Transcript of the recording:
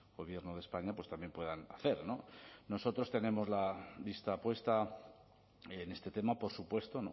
gobierno de españa pues también puedan hacer nosotros tenemos la vista puesta en este tema por supuesto